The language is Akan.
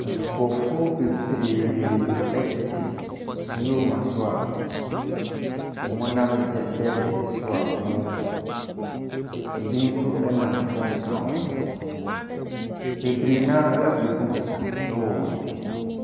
Nkurɔfoɔ tete Newmark so a wɔnam ze desert so a wɔrekɔ, ɛbi nso nam fem ka ho. Bebree no ara bɔ duuku wɔ wɔn ti.